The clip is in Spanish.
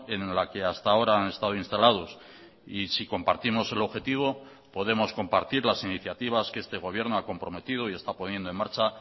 en la que hasta ahora han estado instalados y si compartimos el objetivo podemos compartir las iniciativas que este gobierno ha comprometido y está poniendo en marcha